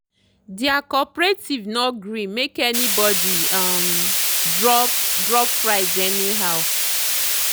their cooperative no gree make anybody um drop drop price anyhow.